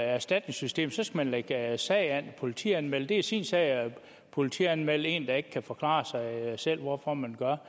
erstatningssystemet så skal man lægge sag an og politianmelde det det er sin sag at politianmelde en der ikke kan forklare hvorfor man gør